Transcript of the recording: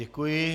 Děkuji.